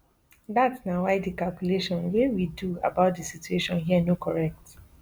dat na why di calculation wey we do about di situation here no correct